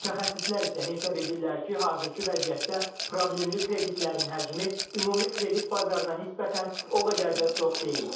Mütəxəssislər isə hesab edirlər ki, hazırki vəziyyətdə problemli kreditlərin həcmi ümumi kredit bazarından nisbətən o qədər də çox deyil.